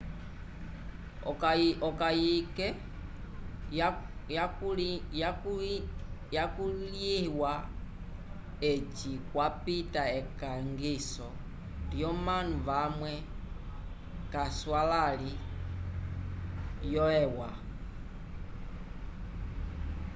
okayike yakulĩhiwa eci kwapita ekangiso lyomanu vamwe k'aswalãli vyo eua